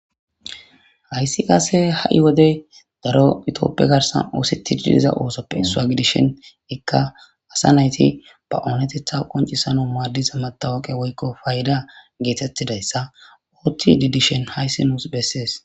Hayisi qase hai wode daro itophey garisan osetidi diza osope isswa gidishin ika asa natiy banatetha qoncisanaw madiza matoqey woyiko payida getetizaysa othidi dishin hays nus beses